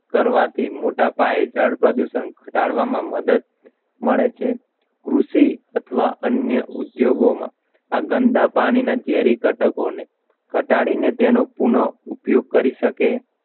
કરવાથી મોટા પાયે જળ પ્રદૂષણ ઘટાડવામાં મદદ મળે છે કૃષિ અથવા અન્ય ઉદ્યોગોમાં આ ગંદા પાણીના ઝેરી ઘટકોને ઘટાડીને તેનો પુન ઉપયોગ કરી શકે.